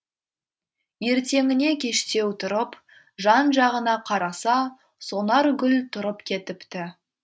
ертеңіне кештеу тұрып жан жағына қараса сонаргүл тұрып кетіпті